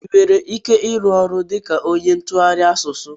I nwere ike ịrụ ọrụ dịka ónyé ntụgharị asụsụ?